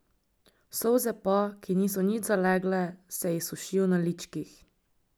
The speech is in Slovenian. Solze pa, ki niso nič zalegle, se ji sušijo na ličkih.